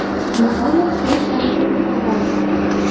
Nihoyat trubkani kimdir ko‘tardi.